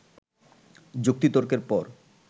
যুক্তিতর্কের পর